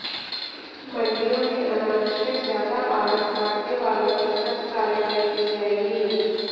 मंडियों में अनावश्यक ज्यादा आढ़त काटने वालों पर सख्त कार्रवाई की जायेगी